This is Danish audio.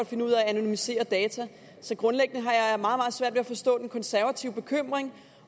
finde ud af at anonymisere data så grundlæggende har jeg meget meget svært ved at forstå den konservative bekymring